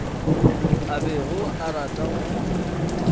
a bego a rata go